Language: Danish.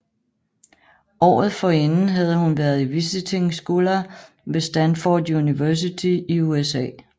Året forinden havde hun været Visiting Scholar ved Stanford University i USA